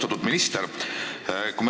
Austatud minister!